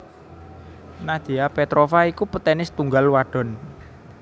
Nadia Petrova iku petenis tunggal wadon